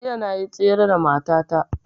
Jiya na yi tsere da mata ta